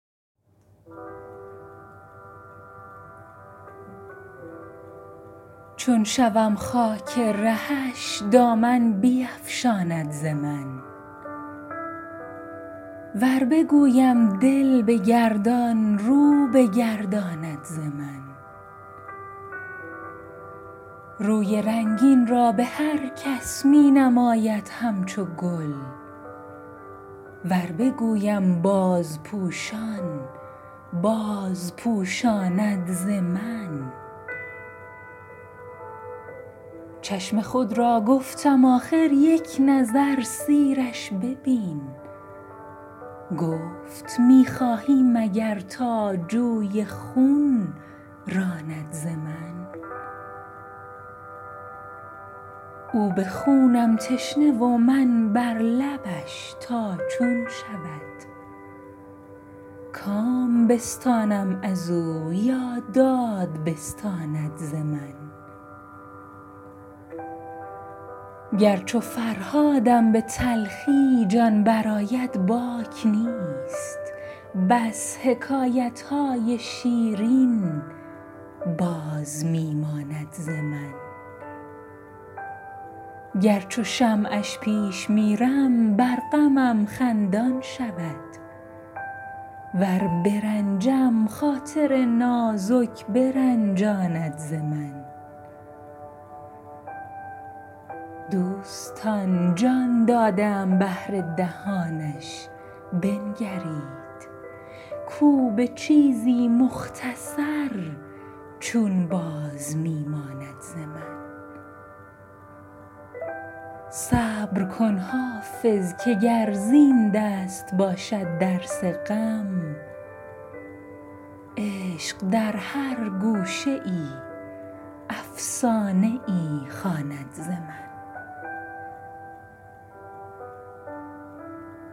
چون شوم خاک رهش دامن بیفشاند ز من ور بگویم دل بگردان رو بگرداند ز من روی رنگین را به هر کس می نماید همچو گل ور بگویم بازپوشان بازپوشاند ز من چشم خود را گفتم آخر یک نظر سیرش ببین گفت می خواهی مگر تا جوی خون راند ز من او به خونم تشنه و من بر لبش تا چون شود کام بستانم از او یا داد بستاند ز من گر چو فرهادم به تلخی جان برآید باک نیست بس حکایت های شیرین باز می ماند ز من گر چو شمعش پیش میرم بر غمم خندان شود ور برنجم خاطر نازک برنجاند ز من دوستان جان داده ام بهر دهانش بنگرید کو به چیزی مختصر چون باز می ماند ز من صبر کن حافظ که گر زین دست باشد درس غم عشق در هر گوشه ای افسانه ای خواند ز من